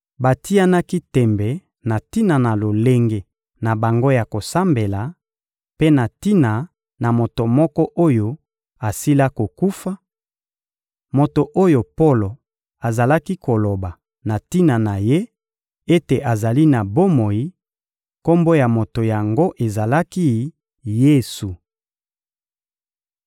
Batianaki tembe na tina na lolenge na bango ya kosambela, mpe na tina na moto moko oyo asila kokufa, moto oyo Polo azalaki koloba na tina na ye ete azali na bomoi; kombo ya moto yango ezalaki «Yesu.»